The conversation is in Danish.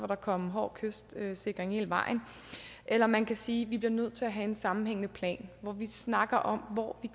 der komme en hård kystsikring hele vejen eller man kan sige vi bliver nødt til at have en sammenhængende plan hvor vi snakker om hvor